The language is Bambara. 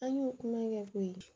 An y'o kuma kɛ koyi